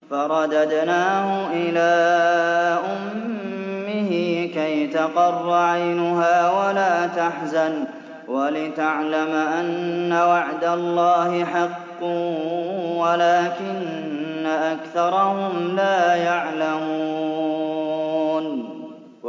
فَرَدَدْنَاهُ إِلَىٰ أُمِّهِ كَيْ تَقَرَّ عَيْنُهَا وَلَا تَحْزَنَ وَلِتَعْلَمَ أَنَّ وَعْدَ اللَّهِ حَقٌّ وَلَٰكِنَّ أَكْثَرَهُمْ لَا يَعْلَمُونَ